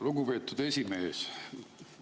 Lugupeetud esimees!